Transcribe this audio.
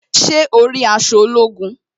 Ṣé o rí aṣọ ológun?